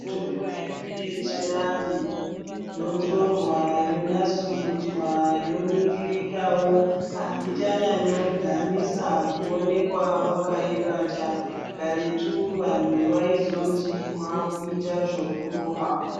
Mitombo yedu yechianhu yotorwa yonasurudzwa yoningirikawo haichanyanyodhanisa kuwonekwa wakaibata karetu vanhu vaizoti wakuita zvekurowa .